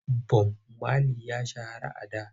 Bob Mali ya shahara a da.